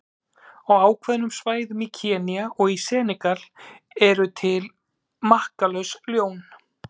Á ákveðnum svæðum í Kenía og í Senegal eru til makkalaus ljón.